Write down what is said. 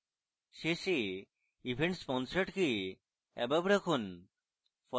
শেষে events sponsored কে above রাখুন